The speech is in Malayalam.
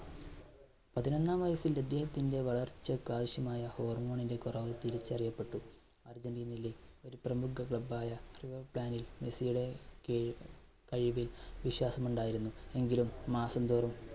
പതിനൊന്നാം വയസ്സിൽ അദ്ദേഹത്തിന്റെ വളർച്ചക്ക് ആവശ്യമായ hormone ന്റെ കുറവ് തിരിച്ചറിയപ്പെട്ടു. അർജൻറീനയിലെ ഒരു പ്രമുഖ club ആയ മെസ്സിയുടെ കിഴി~കഴിവിൽ വിശ്വാസം ഉണ്ടായിരുന്നു, എങ്കിലും മാസംതോറും